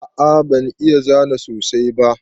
A'a ban iya zana sosai ba.